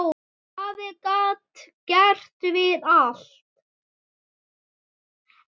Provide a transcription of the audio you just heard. Afi gat gert við allt.